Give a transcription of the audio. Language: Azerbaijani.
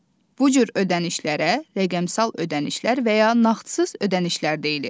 Bu cür ödənişlərə rəqəmsal ödənişlər və ya nağdsız ödənişlər deyilir.